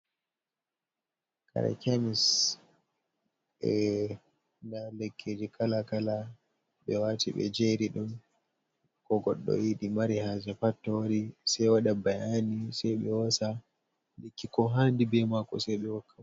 Kare chemis ɗa lekkiji kala kala, ɓe wati ɓe jeri ɗon ko goɗɗo yiɗi mari haje pat sai waɗa ɓayani ,sai ɓe hosa lekki ko hanɗi bie mako sai ɓe hokka.